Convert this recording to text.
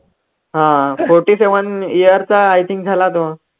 हा forty seven years चा i think झाला तो.